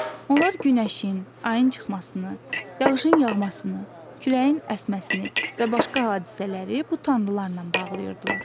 Onlar günəşin, ayın çıxmasını, yağışın yağmasını, küləyin əsməsini və başqa hadisələri bu tanrılarla bağlıyırdılar.